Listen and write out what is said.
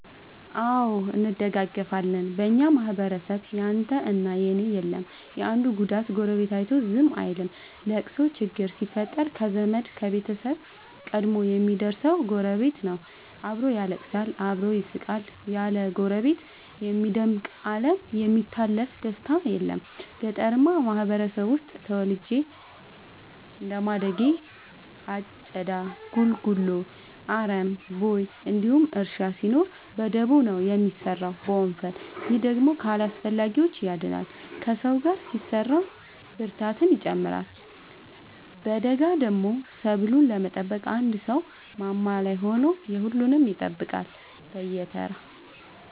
አዎ እንደጋገፋለን በኛ ማህበረሰብ ያንተ እና የኔ የለም የአንዱን ጉዳት ጎረቤቱ አይቶ ዝም አይልም። ለቅሶ ችግር ሲፈጠር ከዘመድ ከቤተሰብ ቀድሞ የሚደር ሰው ጎረቤት ነው። አብሮ ያለቅሳል አብሮ ይስቃል ያለ ጎረቤት የሚደምቅ አለም የሚታለፍ ደስታም የለም። ገጠርአማ ማህበረሰብ ውስጥ ተወልጄ እንደማደጌ አጨዳ ጉልጎሎ አረም ቦይ እንዲሁም እርሻ ሲኖር በደቦ ነው የሚሰራው በወንፈል። ይህ ደግሞ ከአላስፈላጊዎቺ ያድናል ከሰው ጋር ሲሰራ ብርታትን ይጨምራል። በገዳደሞ ሰብሉን ለመጠበቅ አንድ ሰው ማማ ላይ ሆኖ የሁሉም ይጠብቃል በየተራ።